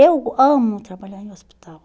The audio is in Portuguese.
Eu amo trabalhar em hospital.